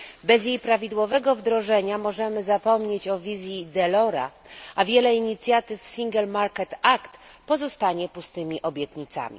Bez jej prawidłowego wdrożenia możemy zapomnieć o wizji Delorsa, a wiele inicjatyw Single Market Act pozostanie pustymi obietnicami.